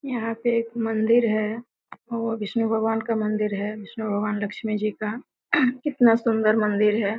यहाँ पे एक मंदिर है वह विष्णु भगवान का मंदिर है विष्णु भगवान लक्ष्मी जी का कितना सुन्दर मंदिर है।